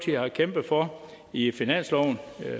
har kæmpet for i finansloven